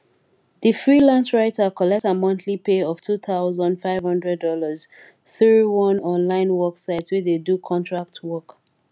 di freelance writer collect her monthly pay of two thousand five hundred dollars through one online work site wey dey do contract work